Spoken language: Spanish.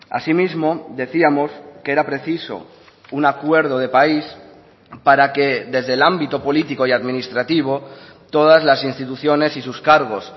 así mismo decíamos que era preciso un acuerdo de país para que desde el ámbito político y administrativo todas las instituciones y sus cargos